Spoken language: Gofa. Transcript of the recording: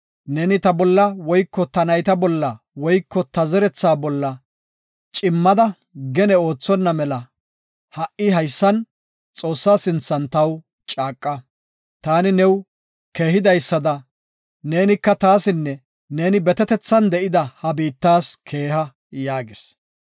Neeni ta bolla woyko ta nayta bolla woyko ta zeretha bolla cimmada gene oothonna mela, ha7i haysan, Xoossa sinthan taw caaqa. Taani new keehidaysada, neenika taasinne neeni betetethan de7ida ha biittees keeha” yaagis.